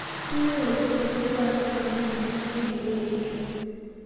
Keyieu olkitok lorkuak neponaa enkitashekinoto tolosho